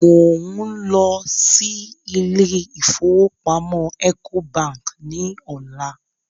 Mò ń lọ sí ilé ìfowópamọ́ Ecobank ní ọ̀la